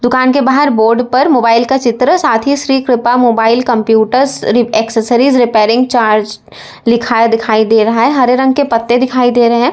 दुकान के बाहर बोर्ड पर मोबाइल का चित्र साथ ही Shri Kripa mobile computers accessories repairing charge लिखा दिखाई दे रहा है हरे रंग के पत्ते दिखाई दे रहे है।